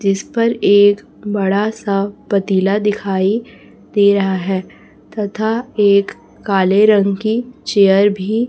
जिस पर एक बड़ा सा पतीला दिखाई दे रहा है तथा एक काले रंग की चेयर भी--